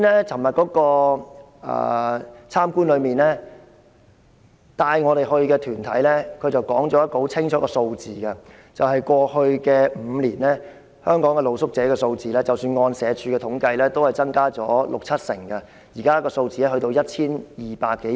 昨天的探訪活動中，帶領我們探訪的團體說了一個很清楚的數字，就是過去5年，即使按社署的統計，香港的露宿者數字，已增加了六七成，現時的數字達 1,200 多人。